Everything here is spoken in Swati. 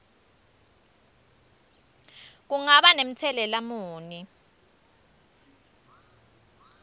kungaba namtselela muni